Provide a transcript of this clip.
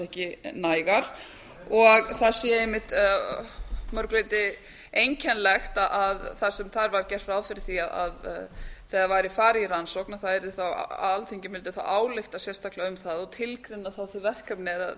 ekki nægar og það sé einmitt að mjög leyti einkennilegt að þar semþað var gert ráð fyrir var að eiga væri farið farið í rannsókn að alþingi mundi þaálytka sérstaklega um það og tilgreina þaþauv verkefni eða